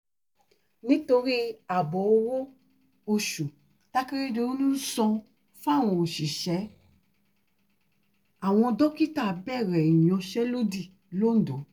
nítorí ààbò owó-oṣù takérédọ́lù ń san fáwọn òṣìṣẹ́ àwọn dókítà bẹ̀rẹ̀ ìyansẹ́lódì lońdó